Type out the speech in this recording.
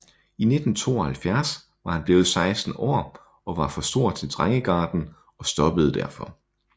I 1972 var han blevet 16 år og var for stor til drengegarden og stoppede derfor